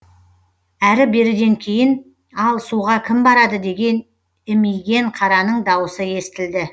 әрі беріден кейін ал суға кім барады деген имиген қараның дауысы естілді